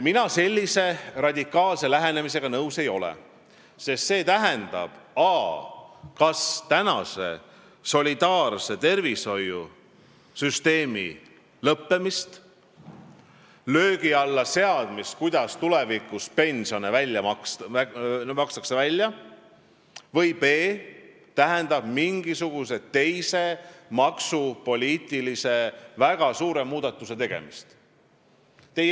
Mina sellise radikaalse lähenemisega nõus ei ole, sest see tähendab a) kas solidaarse tervishoiusüsteemi lõppemist ja selle löögi alla seadmist, kuidas tulevikus pensione välja makstakse, b) või mingisuguse teise väga suure maksupoliitilise muudatuse tegemist.